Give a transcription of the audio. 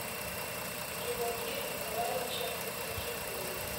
геворге николаевиче машукове